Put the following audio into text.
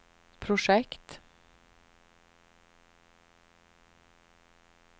projekt